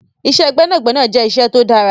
Iṣẹ́ gbẹ́nàgbẹnà jẹ́ iṣẹ́ tó dára.